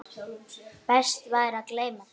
Best væri að gleyma þeim.